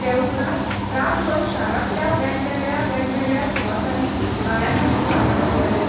ते उपरांत रातभर शारांतल्या वेगवेगळ्या वेगवेगळ्या सुवातांनी गायनाच्यो कार्यावळी जाल्यो.